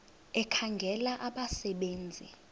ekhangela abasebe nzi